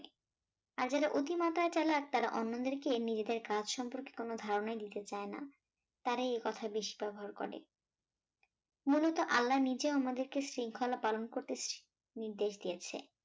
আর যারা অতিমাত্রায় চালাক তারা অন্যদেরকে নিজেদের খারাপ সম্পর্কে কোন ধারণাই দিতে চায় না তারাই এ কথা বেশি ব্যবহার করে মূলত আল্লাহ নিজেও আমাদেরকে শৃঙ্খলা পালন করতে নির্দেশ দিয়েছে।